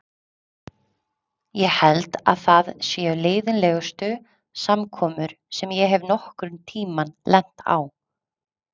Ég held að það séu leiðinlegustu samkomur sem ég hef nokkurn tíma lent á.